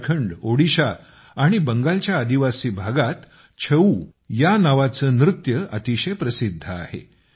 झारखंड ओडिशा आणि बंगालच्या आदिवासी भागात छऊ नावाचे नृत्य अतिशय प्रसिद्ध आहे